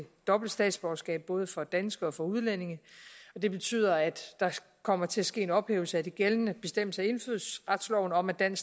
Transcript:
dobbelt statsborgerskab både for danskere og for udlændinge det betyder at der kommer til at ske en ophævelse af de gældende bestemmelser i indfødsretsloven om at en